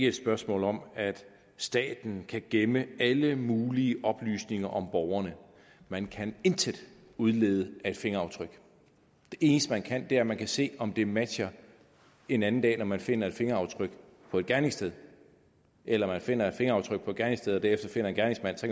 et spørgsmål om at staten kan gemme alle mulige oplysninger om borgerne man kan intet udlede af et fingeraftryk det eneste man kan er at man kan se om det matcher en anden dag når man finder et fingeraftryk på et gerningssted eller man finder et fingeraftryk på et gerningssted og derefter finder en gerningsmand så